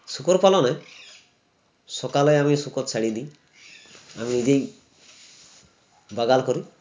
শূকর পালনে সকালে আমি শূকর ছাড়ি দিই আমি নিজেই বাগাল করি